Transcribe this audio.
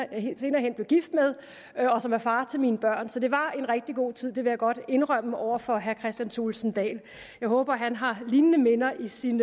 hen blev gift med og som er far til mine børn så det var en rigtig god tid det vil jeg godt indrømme over for herre kristian thulesen dahl jeg håber at han har lignende minder i sin